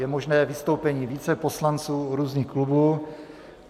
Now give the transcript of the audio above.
Je možné vystoupení více poslanců různých klubů.